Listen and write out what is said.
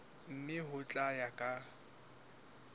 mme ho tla ya ka